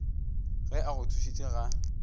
ge a go thušitše ga